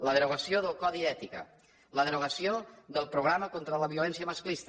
la derogació del codi d’ètica la derogació del programa contra la violència masclista